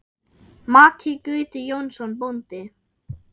Maki Gauti Jónsson bóndi.